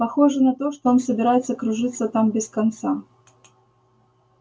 похоже на то что он собирается кружиться там без конца